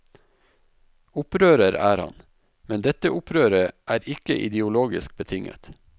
Opprører er han, men dette opprøret er ikke ideologisk betinget.